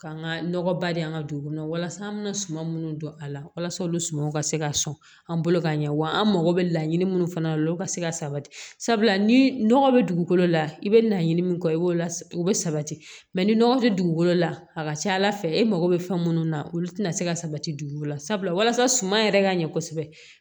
K'an ka nɔgɔba de an ka dugu kɔnɔ walasa an bɛna suman minnu dɔn a la walasa olu sumaw ka se ka sɔn an bolo ka ɲɛ wa an mako bɛ laɲini minnu fana la olu ka se ka sabati sabula ni nɔgɔ bɛ dugukolo la i bɛ laɲini min kɛ i b'o la u bɛ sabati ni nɔgɔ tɛ dugukolo la a ka ca ala fɛ e mago bɛ fɛn munnu na olu tɛna se ka sabati dugu la sabula walasa suman yɛrɛ ka ɲɛ kosɛbɛ